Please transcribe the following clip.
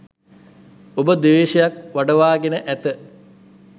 ඔබ ද්වේශයක් වඩවාගෙන ඇත.